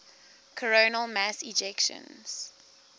coronal mass ejections